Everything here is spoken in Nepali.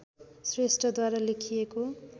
श्रेष्ठद्वारा लेखिएको